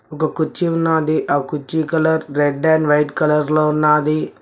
ఒకకొచ్చి ఉన్నది ఆ కుర్చీ colour red and white colour లో ఉన్నది.